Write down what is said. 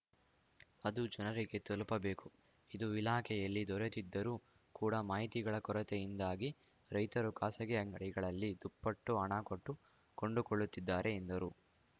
ಅದು ಜನರಿಗೆ ತಲುಪಬೇಕು ಇದು ಇಲಾಖೆಯಲ್ಲಿ ದೊರೆಯುತ್ತಿದ್ದರೂ ಕೂಡ ಮಾಹಿತಿಗಳ ಕೊರತೆಯಿಂದಾಗಿ ರೈತರು ಖಾಸಗಿ ಅಂಗಡಿಗಳಲ್ಲಿ ದುಪ್ಪಟ್ಟು ಹಣ ಕೊಟ್ಟು ಕೊಂಡುಕೊಳ್ಳುತ್ತಿದ್ದಾರೆ ಎಂದರು